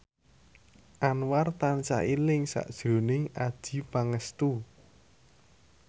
Anwar tansah eling sakjroning Adjie Pangestu